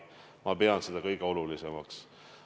Ma pean seda kõige olulisemaks.